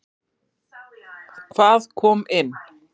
Hvað kom inn?